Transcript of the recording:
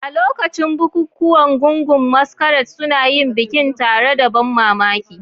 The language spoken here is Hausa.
A lokacin bukukuwan, gungun masquerade suna yin bikin tare da ban mamaki.